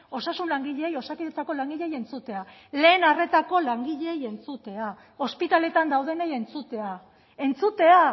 osasun langileei osakidetzako langileei entzutea lehen arretako langileei entzutea ospitaletan daudenei entzutea entzutea